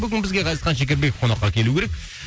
бүгін бізге ғазизхан шекербеков қонаққа келу керек